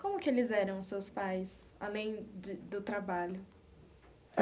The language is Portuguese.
Como que eles eram os seus pais, além de do trabalho?